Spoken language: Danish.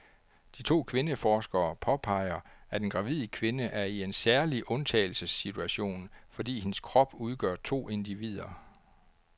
De to kvindeforskere påpeger, at en gravid kvinde er i en særlig undtagelsessituation, fordi hendes krop udgør to individer.